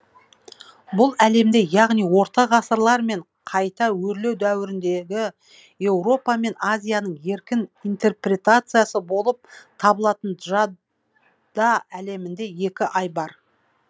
бұл әлемде яғни орта ғасырлар мен қайта өрлеу дәуіріндегі еуропа мен азияның еркін интерпретациясы болып табылатын джада әлімінде екі ай бар